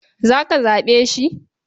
Za ka zaɓe shi?